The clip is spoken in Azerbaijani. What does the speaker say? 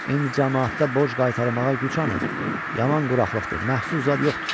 İndi camaatda borc qaytarmağa gücü anı, yaman quraqlıqdır, məhsul zad yoxdur.